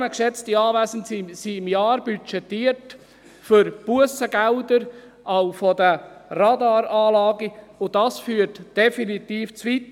38 Mio. Franken, geschätzte Anwesende, sind im Jahr budgetiert für Bussengelder von den Radaranlagen, und das führt definitiv zu weit.